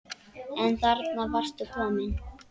En þarna varstu komin!